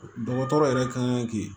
Dɔgɔtɔrɔ yɛrɛ kan ka kɛ